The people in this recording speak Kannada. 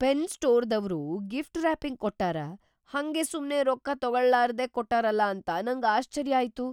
ಪೆನ್‌ ಸ್ಟೋರ್‌ದವ್ರು ಗಿಫ್ಟ್‌ ರಾಪಿಂಗ್‌ ಕೊಟ್ಟಾರ, ಹಂಗೇ ಸುಮ್ನೆ ರೊಕ್ಕ ತೊಗೋಳಾರ್ದೆ ಕೊಟ್ಟಾರಲಾ ಅಂತ ನಂಗ್‌ ಆಶ್ಚರ್ಯಾತು.